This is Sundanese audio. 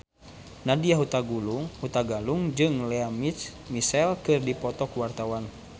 Nadya Hutagalung jeung Lea Michele keur dipoto ku wartawan